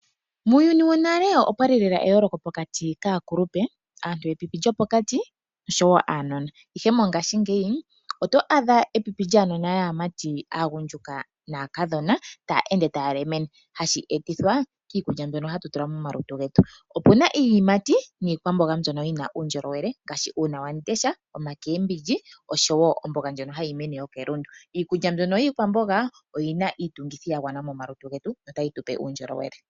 Muuyuni wonale opwali lela eyooloko pokati kaakulupe, aantu yepipi lyopokati noshowo aanona. Ihe mongaashingeyi, oto adha epipi lyaanona yaamati, aagundjuka naakadhona taya ende taya lemene hashi etithwa kiikulya mbyono hatu tula momalutu getu. Opu na iiyimati niikwamboga mbyono yi na uundjolowele ngaashi: uuna wandesha, iikwamboga oshowo oomboga ndjono hayi mene kelundu. Iikwamboga oyi na iitungithi ya gwana momalutu getu notayi tupe uundjolowele.